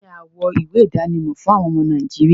Kíni wọ ìwé idánimọ̀ fún àwọn ọmọ Nàìjíríà?